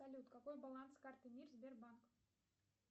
салют какой баланс карты мир сбербанк